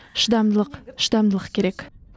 шыдамдылық шыдамдылық керек